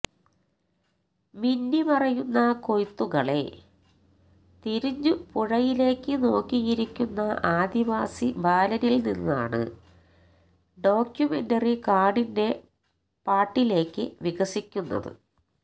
മിന്നി മറയുന്ന കൊയ്ത്തകളെ തിരഞ്ഞു പുഴയിലേക്ക് നോക്കിയിരിക്കുന്ന ആദിവാസി ബാലനിൽ നിന്നാണ് ഡോക്യുമെന്ററി കാടിന്റെ പാട്ടിലേക്ക് വികസിക്കുന്നത്